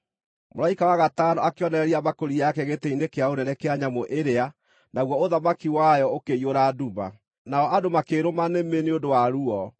Mũraika wa gatano akĩonoreria mbakũri yake gĩtĩ-inĩ kĩa ũnene kĩa nyamũ ĩrĩa, naguo ũthamaki wayo ũkĩiyũra nduma. Nao andũ makĩĩrũma nĩmĩ nĩ ũndũ wa ruo,